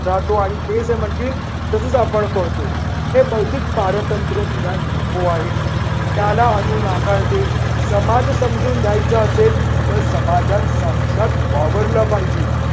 राहतो आणि ते जे म्हणतील तसच आपण करतो. हे बौद्धिक पारतंत्र्य तिला नको आहे. त्याला अनू नाकारते. समाज समजून घ्यायचं असेल तर समाजात साक्षात वावरल पाहिजे.